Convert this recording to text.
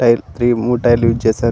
Tyre మూడు tyre లు use చేసారు.